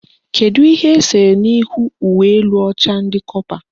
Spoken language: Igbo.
Kedu ihe esere n'ihu uwe elu ọcha ndị kọpa?